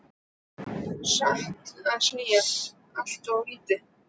Satt að segja allt of lítið.